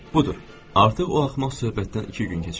Budur, artıq o axmaq söhbətdən iki gün keçib.